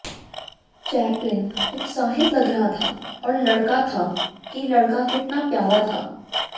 chaplain उत्साहित लग रहा था और लड़का था कि लड़का कितना प्यारा था